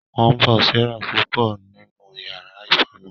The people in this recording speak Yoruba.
Wọn bọ Sarah púpọ ninu iyàrá ìpamọ.